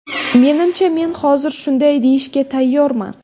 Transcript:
Menimcha men hozir shunday deyishga tayyorman.